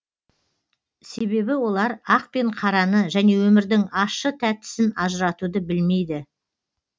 себебі олар ақ пен қараны және өмірдің ащы тәттісін ажыратуды білмейді